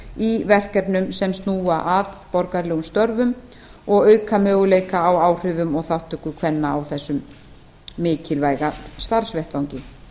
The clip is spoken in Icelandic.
í verkefnum sem snúa að borgaralegum störfum og auka möguleika á áhrifum og þátttöku kvenna á þessum mikilvæga starfsvettvangi